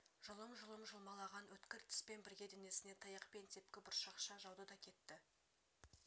жұлым-жұлым жұлмалаған өткір тіспен бірге денесіне таяқ пен тепкі бұршақша жауды да кетті